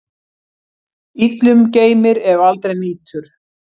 Illum geymir, ef aldrei nýtur.